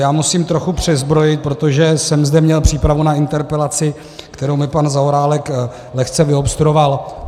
Já musím trochu přezbrojit, protože jsem zde měl přípravu na interpelaci, kterou mi pan Zaorálek lehce vyobstruoval.